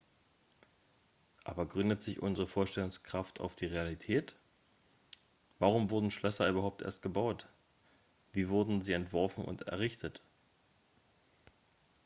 aber gründet sich unsere vorstellungskraft auf die realität warum wurden schlösser überhaupt erst gebaut wie wurden sie entworfen und errichtet